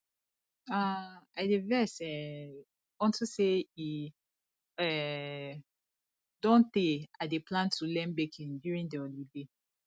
um i dey vex um unto say e um don tey i dey plan to learn baking during the holiday